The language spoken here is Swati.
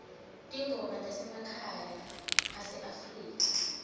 tingoma temakwaya aseafrika